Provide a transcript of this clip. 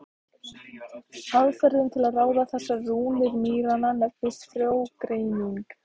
Aðferðin til að ráða þessar rúnir mýranna nefnist frjógreining.